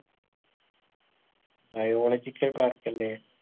biological park അല്ലെ